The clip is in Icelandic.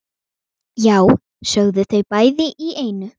Já, sögðu þau bæði í einu.